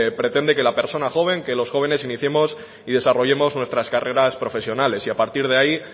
pretende que la persona joven que los jóvenes iniciemos y desarrollemos nuestras carreras profesionales y a partir de ahí